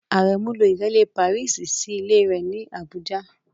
Àrẹ̀mú ló Ìrẹ́lè Pàrísì sí ilẹ̀ rẹ̀ ní Àbújá.